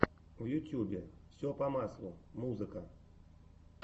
в ютубе все по маслу музыка